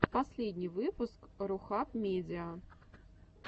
последний выпуск рухаб медиа